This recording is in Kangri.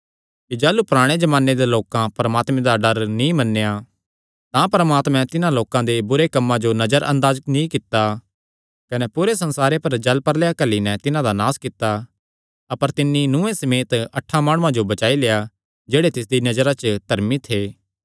कने तुहां एह़ भी जाणदे हन कि जाह़लू पराणे जमाने दे लोकां परमात्मे दा डर नीं मन्नेया तां परमात्मे तिन्हां लोकां दे बुरे कम्मां जो नजर अंदाज नीं कित्ता कने पूरे संसारे पर जल प्रलयै घल्ली नैं तिन्हां दा नास कित्ता अपर तिन्नी नूहे समेत अठां माणुआं जो बचाई लेआ जेह्ड़े तिसदिया नजरा च धर्मी थे